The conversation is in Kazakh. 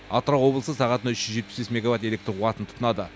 атырау облысы сағатына үш жүз жетпіс мегаватт электр қуатын тұтынады